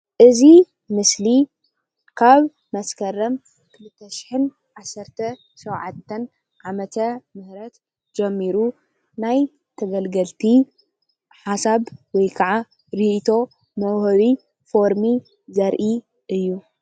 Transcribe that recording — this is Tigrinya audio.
እዚ ምስሊ ካብ መስከረም 2017 ዓ\ም ጀሚሩ ናይ ተገልገልቲ ሓሳብ ወይ ክዓ ሪኢቶ መውሃቢ ፎርሚ ዘሪኢ እዩ፡፡